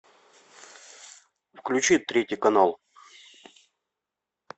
включи третий канал